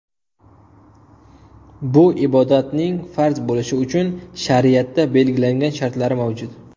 Bu ibodatning farz bo‘lishi uchun shariatda belgilangan shartlari mavjud.